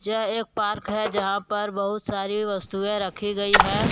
यह एक पार्क है यहां पर बहुत सारी वस्तुएं रखी गई हैं।